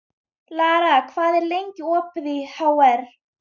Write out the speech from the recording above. Lara, hvað er lengi opið í HR?